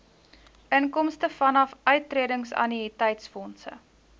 inkomste vanaf uittredingannuïteitsfondse